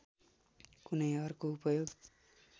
कुनै अर्को उपयोग